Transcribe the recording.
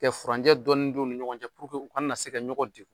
Kɛ furanjɛ dɔɔni don u ni ɲɔgɔn cɛ u kana na se ka ɲɔgɔn deku.